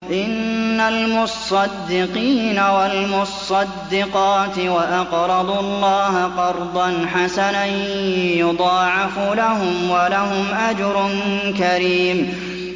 إِنَّ الْمُصَّدِّقِينَ وَالْمُصَّدِّقَاتِ وَأَقْرَضُوا اللَّهَ قَرْضًا حَسَنًا يُضَاعَفُ لَهُمْ وَلَهُمْ أَجْرٌ كَرِيمٌ